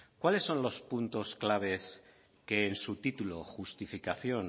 cuáles son los puntos clave que en su título justificación